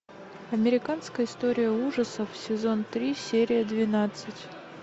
американская история ужасов сезон три серия двенадцать